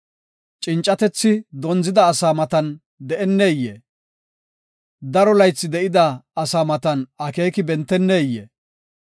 Cincatethi dondzida asaa matan deneyee? daro laythi de7ida asaa matan akeeki benteneyee?